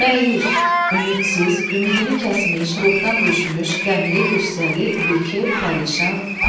Məyus – ümidsiz, ümidini kəsmiş, ruhdan düşmüş, qəmli, qüssəli, bikef, pərişan, pərt.